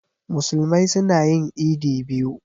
Musulmai suna yin idi biyu.